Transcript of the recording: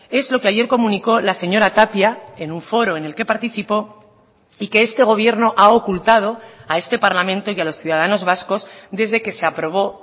es lo que ayer comunicó la señora tapia en un foro en el que participó y que este gobierno ha ocultado a este parlamento y a los ciudadanos vascos desde que se aprobó